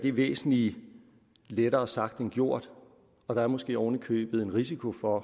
er væsentlig lettere sagt end gjort og der er måske oven i købet en risiko for at